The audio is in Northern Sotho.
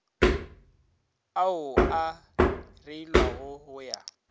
ao a reilwego go ya